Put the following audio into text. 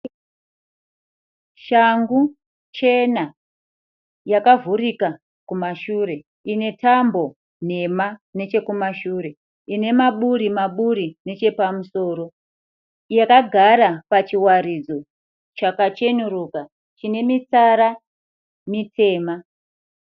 Shangu chena yakavhurika kumashure ine tambo nhema nechekumashure. Ine maburi maburi nechepamusoro. Yakagara pachiwaridzo chakacheneruka chine mitsara mitema.